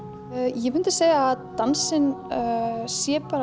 ég myndi segja að dansinn sé bara